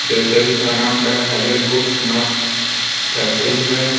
Bakery का नाम the hazel boot nut factory है।